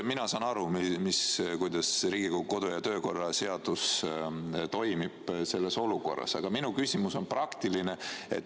Mina saan aru, kuidas Riigikogu kodu- ja töökorra seadus toimib selles olukorras, aga minu küsimus on praktiline.